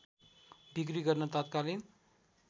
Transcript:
बिक्री गर्न तत्कालीन